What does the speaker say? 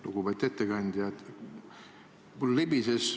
Lugupeetud ettekandja!